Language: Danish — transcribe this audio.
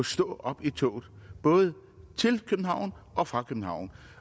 stå op i toget både til og fra københavn